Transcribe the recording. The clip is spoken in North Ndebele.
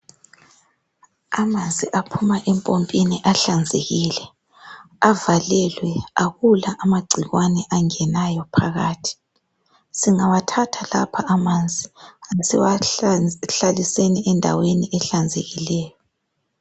Amanzi aphuma empompini ahlanzekile avalelwe akula amagcikwane angenayo phakathi singawathatha lapha amanzi asiwahlaliseni endaweni ehlanzekileyo.